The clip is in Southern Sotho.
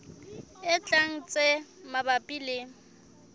e tlang tse mabapi le